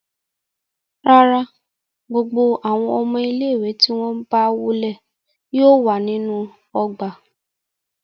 Rárà, gbogbo awọn ọmọ ile-iwe ti wọn gba wọle yóò wa ninu ogba